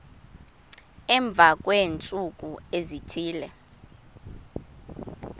emva kweentsuku ezithile